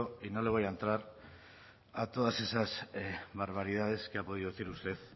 y no le voy a entrar a todas esas barbaridades que ha podido decir usted